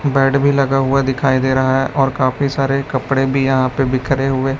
bed भी लगा हुआ दिखाई दे रहा है और काफी सारे कपड़े भी यहां पे बिखरे हुए--